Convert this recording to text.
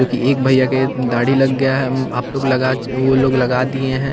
क्युंकि एक भैया के दाढ़ी लग गया है अम आप लोग लगा च वो लोग लगा दिए हैं।